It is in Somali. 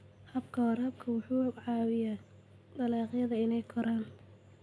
Habka waraabka wuxuu caawiyaa dalagyada inay koraan.